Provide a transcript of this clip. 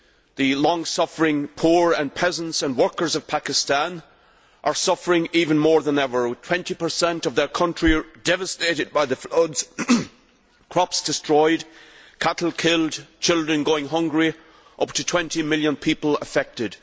The long suffering poor and peasants and workers of Pakistan are suffering even more than ever, with 20 of their country devastated by the floods, with crops destroyed, cattle killed, children going hungry and up to 20 million people affected.